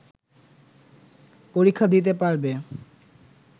পরীক্ষা দিতে পারবে